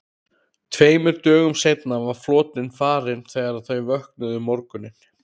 Tveimur dögum seinna var flotinn farinn þegar þau vöknuðu um morguninn.